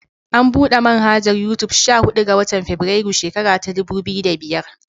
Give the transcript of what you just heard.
An buɗe manhajar Yutub sha huɗu ga. watan febirairun shekara ta dubu biyu da biyar.